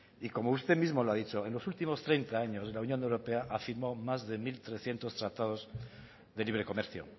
y como usted mismo lo ha dicho en los últimos treinta años de la unión europea ha firmado más de mil trescientos tratados de libre comercio